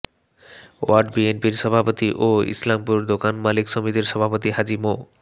word বিএনপির সভাপতি ও ইসলামপুর দোকান মালিক সমিতির সভাপতি হাজী মো